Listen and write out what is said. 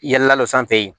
Yɛlɛ la don sanfɛ ye